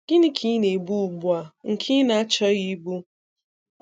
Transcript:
Gịnị ka ị na - ebu ugbua, nke ị na-achọghị ịbụ?.